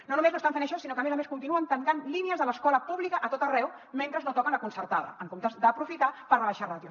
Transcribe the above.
no només no estan fent això sinó que a més a més continuen tancant línies de l’escola pública a tot arreu mentre no toquen la concertada en comptes d’aprofitar per rebaixar ràtios